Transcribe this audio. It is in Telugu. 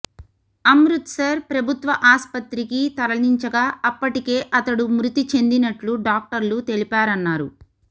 అమృత్సర్ ప్రభుత్వ ఆస్పత్రికి తరలించగా అప్పటికే అతడు మృతి చెందినట్లు డాక్టర్లు తెలిపారన్నారు